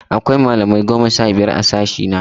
Akwai malamai goma sha biyar a sashe ɗina.